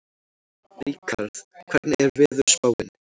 Ríkharð, hvernig er veðurspáin?